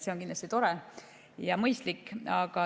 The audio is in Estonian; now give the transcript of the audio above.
See on kindlasti tore ja mõistlik.